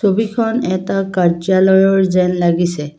ছবিখন এটা কাৰ্যালয়ৰ যেন লাগিছে।